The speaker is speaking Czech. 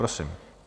Prosím.